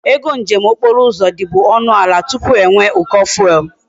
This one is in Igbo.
Ego njem okporo uzo di bu onu ala tupu enwe e uko fuel